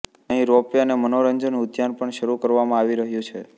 અહીં ropeway અને મનોરંજન ઉદ્યાન પણ શરૂ કરવામાં આવી રહ્યું છે